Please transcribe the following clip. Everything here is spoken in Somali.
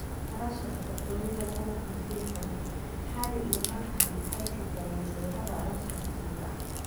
Arooska Boqortooyada 2018: Harry iyo Meghan waxay sii daayeen sawirada arooska rasmiga ah